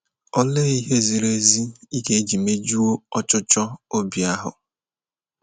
Olee ihe ziri ezi ị ga - eji mejuo ọchụchọ obi ahụ?